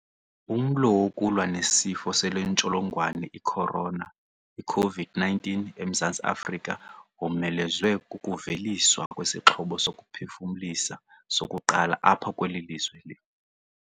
Umlo wokulwa nesifo sale ntsholongwane i-corona iCOVID-19 eMzantsi Afrika womelezwe kukuveliswa kwesixhobo sokuphefumlisa sokuqala apha kweli lizwe.